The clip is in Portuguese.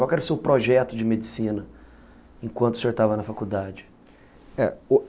Qual era o seu projeto de medicina enquanto o senhor estava na faculdade?